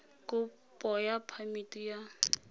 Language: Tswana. kopo ya phamiti ya go